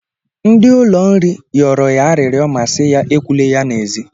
Ndị ụlọ nri yọrọ ya arịrịọ ma si ya ekwula ya n'ezi.